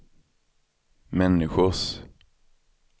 människors